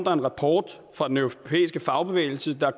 rapport fra den europæiske fagbevægelse der